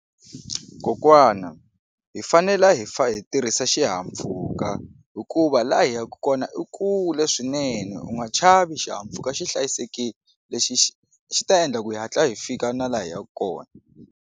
Kokwana hi fanele hi fa hi tirhisa xihahampfhuka hikuva laha hi yaka kona i kule swinene u nga chavi xihahampfhuka xi hlayisekile lexi xi xi ta endla ku hi hatla hi fika na laha hi yaka kona.